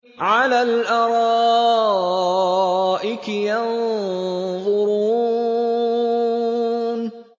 عَلَى الْأَرَائِكِ يَنظُرُونَ